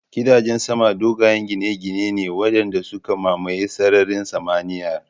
Gidajen sama dogayen gine-gine ne waɗanda suka mamaye sararin samaniyar